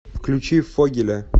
включи фогеля